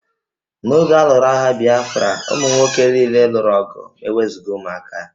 N'oge a lụrụ agha Bịafra, ụmụ nwoke niile lụrụ ọgụ ma e wezụga ụmụaka